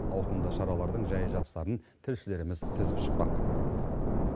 ауқымды шаралардың жай жапсарын тілшілеріміз тізіп шықпақ